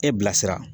E bilasira